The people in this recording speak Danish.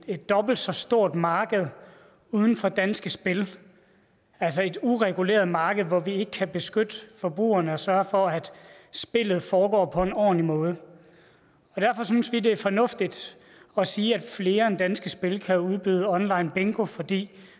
et dobbelt så stort marked uden for danske spil altså et ureguleret marked hvor vi ikke kan beskytte forbrugerne og sørge for at spillet foregår på en ordentlig måde derfor synes vi at det er fornuftigt at sige at flere end danske spil kan udbyde onlinebingo fordi